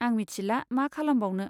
आं मिथिला मा खालामबावनो।